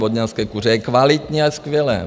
Vodňanské kuře, je kvalitní a je skvělé.